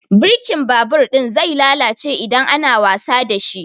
Birkin babur ɗin zai lalace idan ana wasa dashi